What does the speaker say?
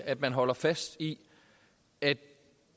at man holder fast i at